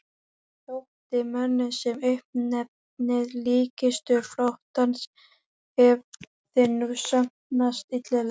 Þótti mönnum sem uppnefnið líkkistur flotans hefði nú sannast illilega.